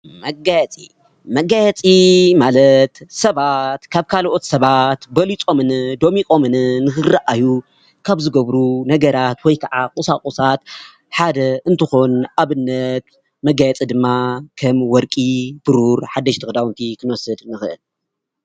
መጋየፂ መጋየፂ ማለት ሰባት ካብ ካልኦት ሰባት በሊፆምን ደሚቆምን ንክረአዩ ካብ ዝገብሩ ነገራት ወይ ከዓ ቁሳቁሳት ሓደ እንትኾን ንአብነት፡-መጋየፂ ድማ ከም ወርቂ፣ ብሩር ሓደሽቲ ክዳውንቲ ክንወስድ ንክእል፡፡